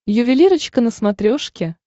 ювелирочка на смотрешке